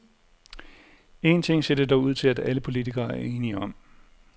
Én ting ser det dog ud til, at alle politikere er enige om.